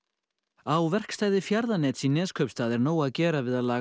á verkstæði Fjarðanets í Neskaupstað er nóg að gera við að laga